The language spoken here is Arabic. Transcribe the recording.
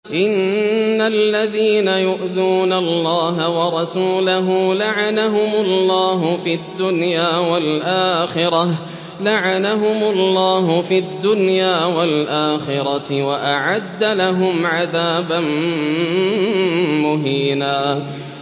إِنَّ الَّذِينَ يُؤْذُونَ اللَّهَ وَرَسُولَهُ لَعَنَهُمُ اللَّهُ فِي الدُّنْيَا وَالْآخِرَةِ وَأَعَدَّ لَهُمْ عَذَابًا مُّهِينًا